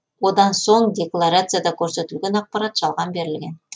одан соң декларацияда көрсетілген ақпарат жалған берілген